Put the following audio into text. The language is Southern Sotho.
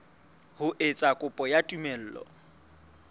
ho etsa kopo ya tumello